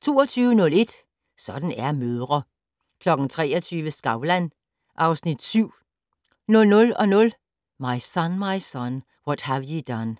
22:01: Sådan er mødre 23:00: Skavlan (Afs. 7) 00:00: My Son, My Son, What Have Ye Done